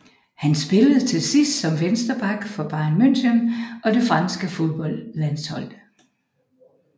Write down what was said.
Han spillede til sidst som venstreback for Bayern München og det franske fodboldlandshold